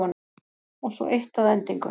Og svo eitt að endingu.